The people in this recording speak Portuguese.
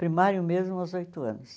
Primário mesmo aos oito anos.